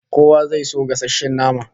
Kowa zai so gasasshen nama